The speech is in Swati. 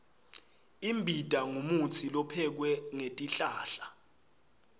imbita ngumutsi lophekwe ngetihlahla